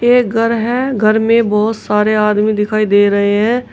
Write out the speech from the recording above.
एक घर है घर में बहोत सारे आदमी दिखाई दे रहे हैं।